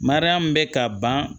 Mariyamu bɛ ka ban